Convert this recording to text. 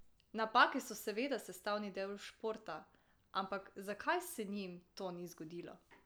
Napake so seveda sestavni del športa, ampak zakaj se njim to ni zgodilo?